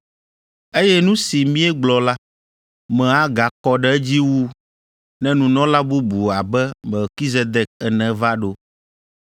Eye nu si míegblɔ la, me agakɔ ɖe edzi wu ne nunɔla bubu abe Melkizedek ene va ɖo,